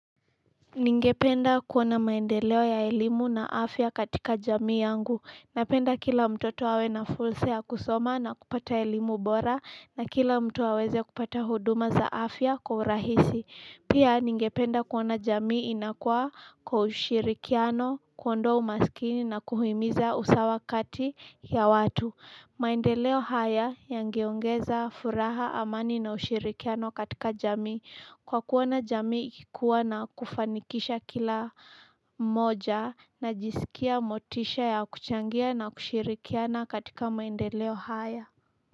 Ningependa kuona maendeleo ya elimu na afya katika jamii yangu napenda kila mtoto awe na fursa ya kusoma na kupata elimu bora na kila mtu aweze kupata huduma za afya kwa urahisi pia ningependa kuona jamii inakua kwa ushirikiano kuondoa umaskini na kuhimiza usawa kati ya watu maendeleo haya yangeongeza furaha amani na ushirikiano katika jamii kwa kuona jamii ikikua na kufanikisha kila mmoja na jisikia motisha ya kuchangia na kushirikiana katika maendeleo haya.